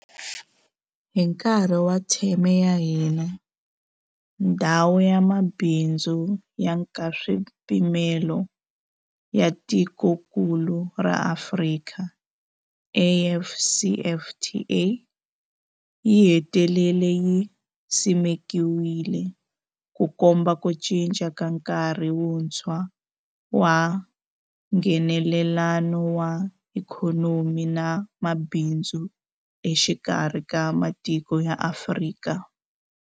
Hi nkarhi wa theme ya hina, Ndhawu ya Mabindzu ya Nkaswipimelo ya Tikokulu ra Afrika, AfCFTA, yi hetelele yi simekiwile, Ku komba ku cinca ka nkarhi wuntshwa wa Nghenelelano wa ikhonomi na mabindzu exikarhi ka matiko ya Afrika.